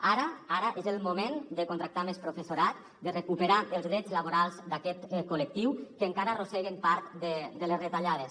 ara ara és el moment de contractar més professorat de recuperar els drets laborals d’aquest col·lectiu que encara arrosseguen part de les retallades